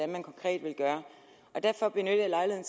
man konkret vil gøre derfor benytter jeg